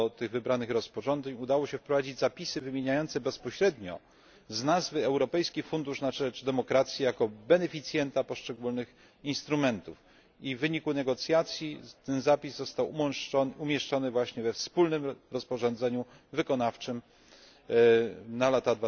do tych wybranych rozporządzeń udało się wprowadzić zapisy wymieniające bezpośrednio z nazwy Europejski Fundusz na rzecz Demokracji jako beneficjenta poszczególnych instrumentów i w wyniku negocjacji ten zapis został właśnie umieszczony we wspólnym rozporządzeniu wykonawczym na lata